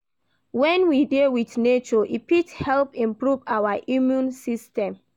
When we dey with nature, e fit help improve our immume system